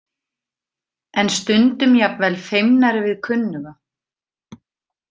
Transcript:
En stundum jafnvel feimnari við kunnuga.